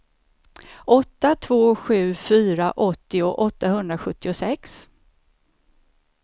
åtta två sju fyra åttio åttahundrasjuttiosex